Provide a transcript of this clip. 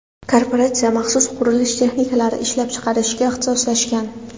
Korporatsiya maxsus qurilish texnikalari ishlab chiqarishga ixtisoslashgan.